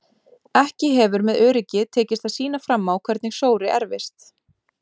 Ekki hefur með öryggi tekist að sýna fram á hvernig sóri erfist.